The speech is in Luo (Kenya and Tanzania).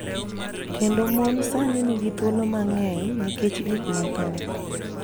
Kendo mon sani nigi thuolo mang�eny nikech gik mathoth.